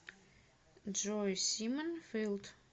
джой симон филд